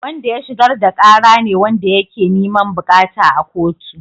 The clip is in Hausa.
Wanda ya shigar da kara ne wanda yake niman bukata a kotu.